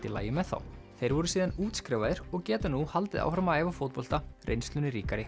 í lagi með þá þeir voru síðan útskrifaðir og geta nú haldið áfram að æfa fótbolta reynslunni ríkari